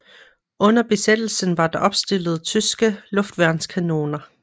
Under besættelsen var der opstillet tyske luftværnskanoner